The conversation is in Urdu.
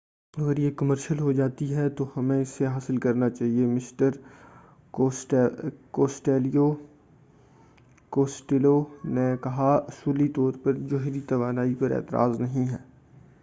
اگر یہ کمرشل ہو جاتی ہے تو ہمیں اسے حاصل کرنا چاہئے مسٹر کوسٹیلو نے کہا کہ اصولی طور پر جوہری توانائی پر کوئی اعتراض نہیں ہے